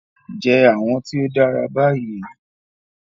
Jẹ awọn ti o dara bayi